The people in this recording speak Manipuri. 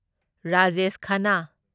ꯔꯥꯖꯦꯁ ꯈꯥꯟꯅꯥ